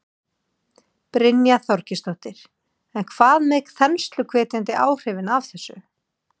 Brynja Þorgeirsdóttir: En hvað með þensluhvetjandi áhrifin af þessu?